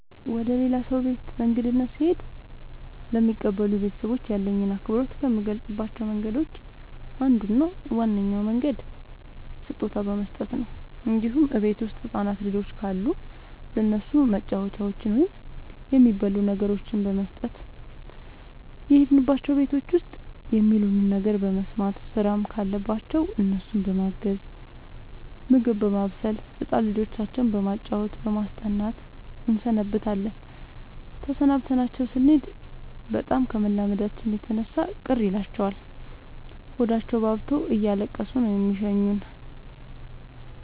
ወደ ሌላ ሰው ቤት በእንግድነት ስሄድ ለሚቀበሉኝ ቤተሰቦች ያለኝን አክብሮት ከምገልፅባቸው መንገዶች አንዱ እና ዋነኛው መንገድ ስጦታ በመስጠት ነው እንዲሁም እቤት ውስጥ ህፃናት ልጆች ካሉ ለእነሱ መጫወቻዎችን ወይም የሚበሉ ነገሮችን በመስጠት። የሄድንባቸው ቤቶች ውስጥ የሚሉንን ነገር በመስማት ስራም ካለባቸው እነሱን በማገዝ ምግብ በማብሰል ህፃን ልጆቻቸው በማጫወት በማስጠናት እንሰነብታለን ተሰናብተናቸው ስኔድ በጣም ከመላመዳችን የተነሳ ቅር ይላቸዋል ሆዳቸውባብቶ እያለቀሱ ነው የሚሸኙን።